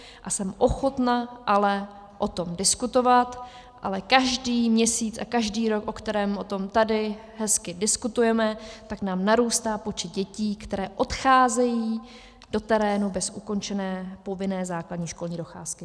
A jsem ochotna ale o tom diskutovat, ale každý měsíc a každý rok, o kterém o tom tady hezky diskutujeme, tak nám narůstá počet dětí, které odcházejí do terénu bez ukončené povinné základní školní docházky.